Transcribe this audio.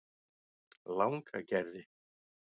Langagerði